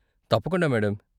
తప్పకుండా మేడం.